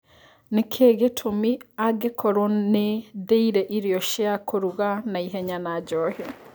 nĩ kĩ gĩtũmĩ angĩkorwo nĩ ndĩire irio cia kũruga na ihenya na njohi